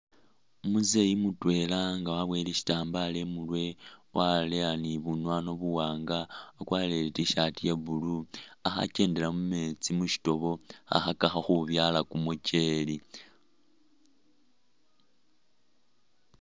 Umuzei mutwela nga wabuwele shitambala imurwe waleya ni bunwanwa buwanga akwarire i T'shirt iya blue akho akyendela mu metsi mushitobo khakhakakho khubyala kumukyele.